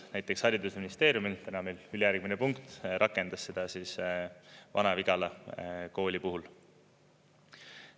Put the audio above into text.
Näiteks haridusministeerium – täna meil küll ülejärgmine punkt – rakendas seda Vana-Vigala kooli puhul.